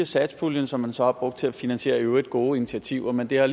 satspuljen som man så har brugt til at finansiere i øvrigt gode initiativer men det har